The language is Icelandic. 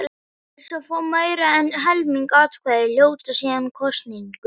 Þeir sem fá meira en helming atkvæða hljóta síðan kosningu.